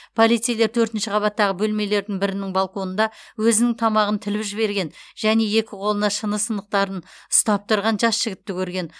полицейлер төртінші қабаттағы бөлмелердің бірінің балконында өзінің тамағын тіліп жіберген және екі қолына шыны сынықтарын ұстап тұрған жас жігітті көрген